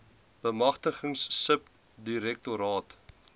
bemagtiging sub direktoraat